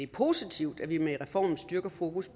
positivt at vi med reformen styrker fokus